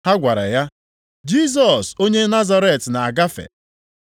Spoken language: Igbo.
Ha gwara ya, “Jisọs onye Nazaret na-agafe.”